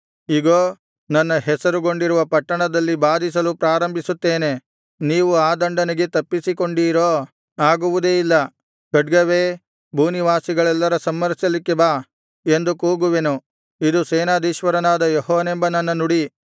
ಇಗೋ ನನ್ನ ಹೆಸರುಗೊಂಡಿರುವ ಪಟ್ಟಣದಲ್ಲಿ ಬಾಧಿಸಲು ಪ್ರಾರಂಭಿಸುತ್ತೇನೆ ನೀವು ಆ ದಂಡನೆಗೆ ತಪ್ಪಿಸಿಕೊಂಡೀರೋ ಆಗುವುದೇ ಇಲ್ಲ ಖಡ್ಗವೇ ಭೂನಿವಾಸಿಗಳನ್ನೆಲ್ಲ ಸಂಹರಿಸಲಿಕ್ಕೆ ಬಾ ಎಂದು ಕೂಗುವೆನು ಇದು ಸೇನಾಧೀಶ್ವರನಾದ ಯೆಹೋವನೆಂಬ ನನ್ನ ನುಡಿ